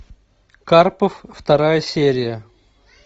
карпов вторая серия